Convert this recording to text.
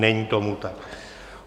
Není tomu tak.